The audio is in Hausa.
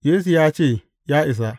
Yesu ya ce, Ya isa.